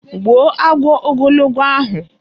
Gbuo agwọ ogologo ahụ!